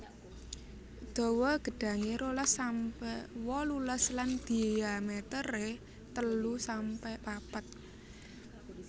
Dawa gedhange rolas sampe wolulas lan dhiamétéré telu sampe papat